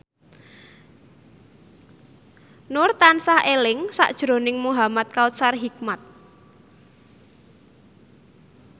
Nur tansah eling sakjroning Muhamad Kautsar Hikmat